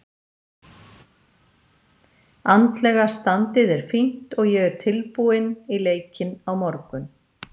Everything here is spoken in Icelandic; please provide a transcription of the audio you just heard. Andlega standið er fínt og ég er tilbúinn í leikinn á morgun.